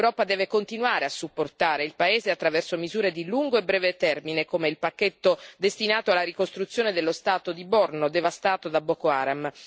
L'Europa deve continuare a supportare il paese attraverso misure di lungo e breve termine, come il pacchetto destinato alla ricostruzione dello Stato di Borno, devastato da Boko Haram.